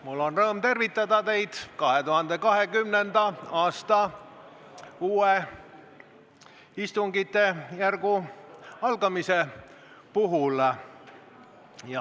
Mul on rõõm tervitada teid uue, 2020. aasta istungjärgu algamise puhul.